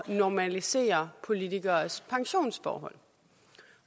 normalisere politikeres pensionsforhold